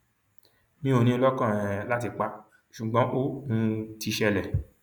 mi ò ní in lọkàn um láti pa á ṣùgbọn ó um ti ṣẹlẹ